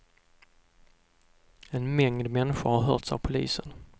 En mängd människor har hörts av polisen.